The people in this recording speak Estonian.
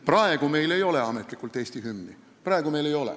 Praegu meil ametlikult Eesti hümni ei ole.